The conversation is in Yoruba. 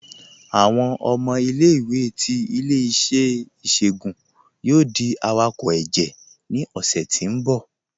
Awọn ọmọ ilẹ̀-iwé ti ilẹ̀-iṣẹ̀ iṣoogun yoo di awakọ ẹjẹ ni ọṣẹ ti n bọ̀.